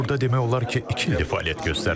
Mən burda demək olar ki, iki ildir fəaliyyət göstərirəm.